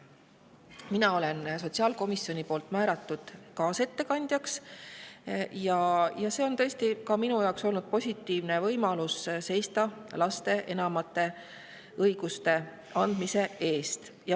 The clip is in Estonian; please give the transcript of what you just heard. Mina olen sotsiaalkomisjoni poolt määratud kaasettekandjaks ja see on ka minu jaoks olnud positiivne võimalus seista lastele enamate õiguste andmise eest.